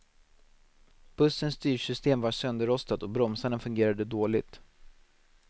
Bussens styrsystem var sönderrostat och bromsarna fungerade dåligt.